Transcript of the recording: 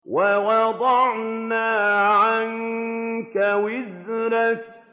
وَوَضَعْنَا عَنكَ وِزْرَكَ